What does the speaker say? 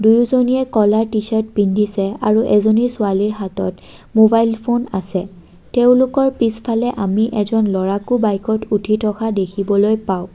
দুয়োজনীয়ে ক'লা টি-চাৰ্ট পিন্ধিছে আৰু এজনী ছোৱালীৰ হাতত মোবাইল ফোন আছে তেওঁলোকৰ পিছফালে আমি এজন ল'ৰাকো বাইকত উঠি থকা দেখিবলৈ পাঁও।